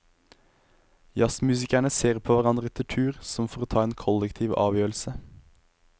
Jazzmusikerne ser på hverandre etter tur, som for å ta en kollektiv avgjørelse.